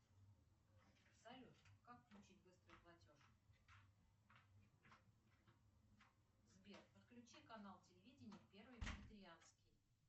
салют как включить быстрый платеж сбер подключи канал телевидения первый викторианский